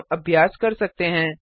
अब हम अभ्यास कर सकते हैं